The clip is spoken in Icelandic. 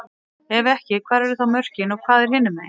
Ef ekki, hvar eru þá mörkin og hvað er hinumegin?